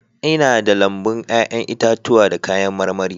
Ina da lambun 'ya'yan itatuwa da kayan marmari